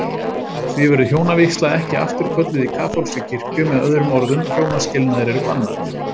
Því verður hjónavígsla ekki afturkölluð í kaþólskri kirkju, með öðrum orðum hjónaskilnaðir eru bannaðir.